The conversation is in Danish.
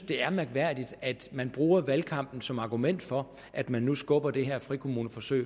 det er mærkværdigt at man bruger valgkampen som argument for at man nu skubber det her frikommuneforsøg